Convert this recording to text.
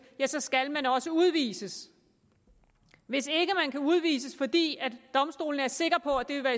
ja så skal man også udvises hvis ikke man kan udvises fordi domstolene er sikre på at det vil